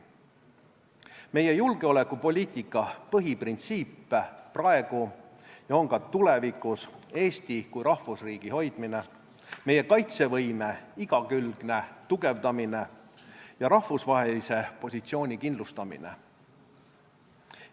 Meie julgeolekupoliitika põhiprintsiip on praegu ja ka tulevikus Eesti kui rahvusriigi hoidmine, meie kaitsevõime igakülgne tugevdamine ja rahvusvahelise positsiooni kindlustamine.